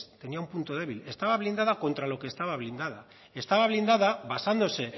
tenía un punto débil estaba blindada contra lo que estaba blindada estaba blindada basándose